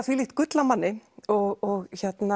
þvílíkt gull af manni og